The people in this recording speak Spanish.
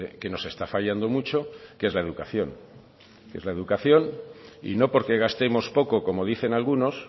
que nos está fallando mucho que es la educación es la educación y no porque gastemos poco como dicen algunos